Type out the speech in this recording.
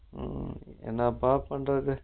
உம் என்னப்பா பண்றது